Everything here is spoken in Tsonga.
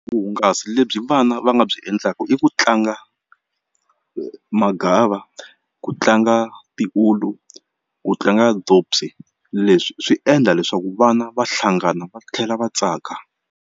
Vuhungasi lebyi vana va nga byi endlaka i ku tlanga magava ku tlanga tiulu ku tlanga leswi swi endla leswaku vana va hlangana va tlhela va tsaka.